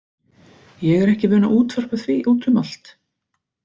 Ég er ekki vön að útvarpa því út um allt.